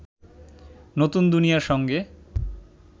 নতুন দুনিয়ার সঙ্গে